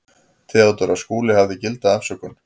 THEODÓRA: Skúli hafði gilda afsökun.